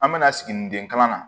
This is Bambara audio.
An bɛna siginiden kalan na